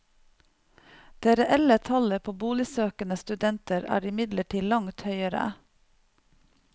Det reelle tallet på boligsøkende studenter er imidlertid langt høyere.